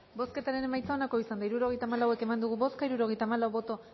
bozketaren emaitza onako izan da hirurogeita hamalau eman dugu bozka hirurogeita hamalau boto